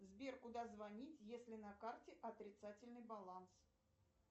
сбер куда звонить если на карте отрицательный баланс